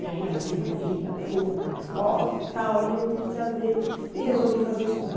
E aí ela desenvolvia a pergunta, a resposta e tal, e eu me entusiasmei e resolvi fazer história.